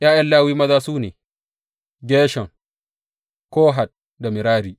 ’Ya’yan Lawi maza su ne, Gershom, Kohat da Merari.